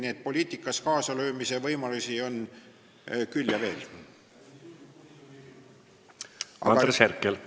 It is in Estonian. Nii et poliitikas kaasalöömise võimalusi on küll ja veel.